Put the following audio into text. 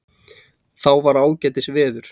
Þá var ágætis veður.